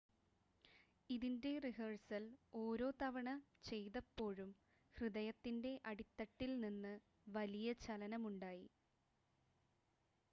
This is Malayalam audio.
"""ഇതിന്‍റെ റിഹേഴ്സല്‍ ഓരോ തവണ ചെയ്തപ്പോഴും ഹൃദയത്തിന്‍റെ അടിത്തട്ടില്‍നിന്ന് വലിയ ചലനമുണ്ടായി."